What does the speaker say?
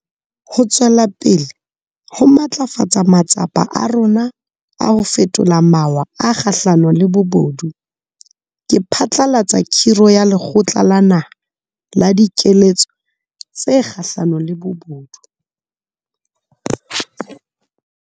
Ho tswela pele ho matlafatsa matsapa a rona a ho fetola mawa a kgahlano le bobodu, ke phatlalatsa khiro ya Lekgotla la Naha la Dikeletso tse Kgahlano le Bobodu.